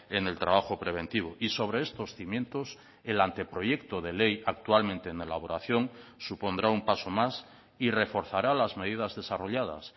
en el trabajo preventivo y sobre estos cimientos el anteproyecto de ley actualmente en elaboración supondrá un paso más y reforzará las medidas desarrolladas